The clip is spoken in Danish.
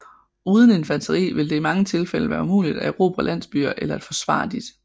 Uden infanteri vil det i mange tilfælde være umuligt at erobre landsbyer eller at forsvare disse